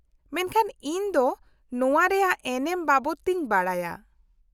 -ᱢᱮᱱᱠᱷᱟᱱ ᱤᱧ ᱫᱚ ᱱᱚᱶᱟ ᱨᱮᱭᱟᱜ ᱮᱱᱮᱢ ᱵᱟᱵᱚᱫᱛᱮᱧ ᱵᱟᱰᱟᱭᱟ ᱾